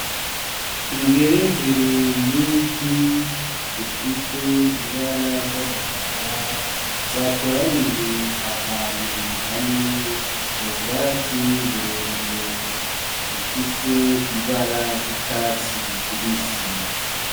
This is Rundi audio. Ingeregere nyinshi zifise ibara ry'agahama, zakoraniye ahantu hamwe mubwatsi burebure, bufise ibara ry'icatsi kibisi.